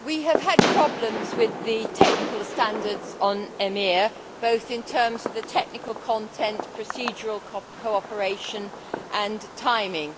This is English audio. we have had problems with the technical standards on EMIR, both in terms of the technical content, procedural cooperation and timing.